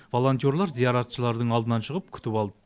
волонтерлар зияратшылардың алдынан шығып күтіп алды